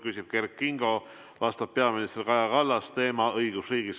Küsib Kert Kingo, vastab peaminister Kaja Kallas ja teema on õigusriik.